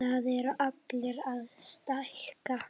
Það eru allir að stækka.